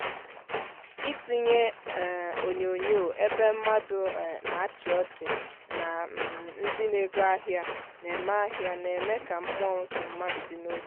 ịtinyé um onyonyo ébé mmádụ um nà áchi ọchị nà um ndị na ego ahịa na-eme ahịa na-eme ka mmụọ nke mmadụ dị n'otù